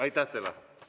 Aitäh teile!